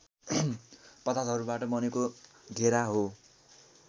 पदार्थहरूबाट बनेको घेरा हो